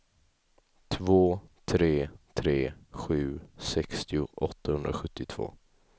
två tre tre sju sextio åttahundrasjuttiotvå